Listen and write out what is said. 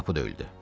Qapı döyüldü.